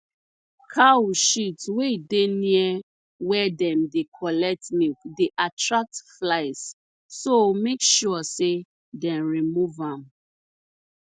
cow shit wey dey near where dem dey collect milk dey attract flies so make sure sey dem remove am